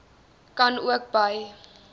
kan ook by